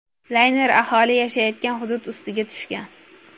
Layner aholi yashaydigan hudud ustiga tushgan.